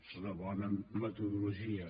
és una bona metodologia